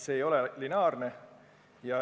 See ei ole lineaarne.